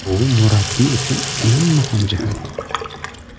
Bu murabbiy uchun eng muhim jihat.